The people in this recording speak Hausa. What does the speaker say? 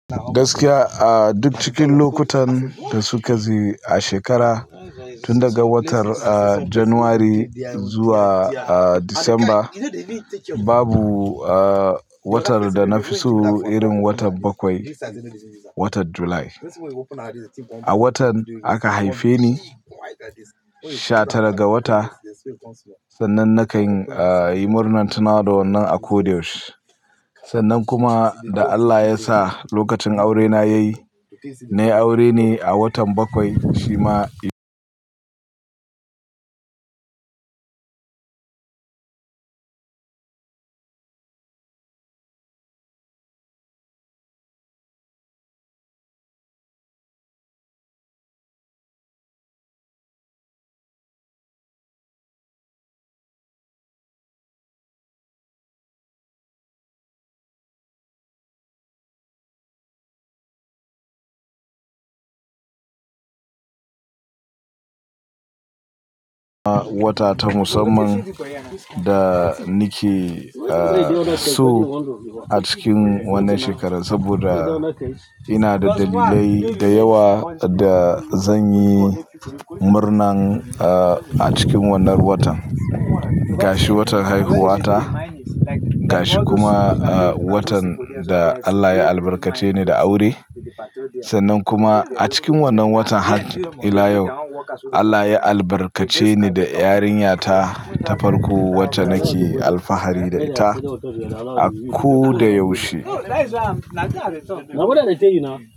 Gaskiya a duk cikin lokutan da suka ji a shekara tun daga watar, ah, January zuwa, ah, Disamba, babu, ah, watar da na fi so irin watan bakwai, watan Julai. A watan aka haife ni, sha tara ga wata, sannan na kan ah, yi murnan tunawa da wannan a ko da yaushe. Sannan kuma da Allah ya sa lokacin aurena ya yi, nayi aure ne a watan bakwai shi ma wata ta musamman da ni ke, ah, so a cikin wannan shekara saboda ina da dalilai da yawa da zan yi murnan, ah, a cikin wannan watan. Gashi watan haihuwata, gashi kuma, ah, watan da Allah ya albarkace ni da aure. Sannan kuma a cikin wannan watan har ila yau Allah ya albarkace ni da yarinyata ta farko wacce nake alfahari da ita a ko da yaushe.